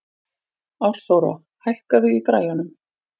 Árþóra, hækkaðu í græjunum.